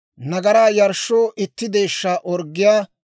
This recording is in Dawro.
nagaraa yarshshoo itti deeshshaa orggiyaa;